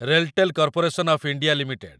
RailTel corporation of India limited